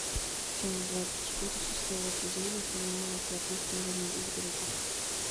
часть двадцать четыре шестого сезона сериала по ту сторону изгороди